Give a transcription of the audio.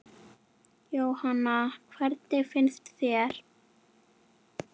Jóhanna: Hvernig finnst þér?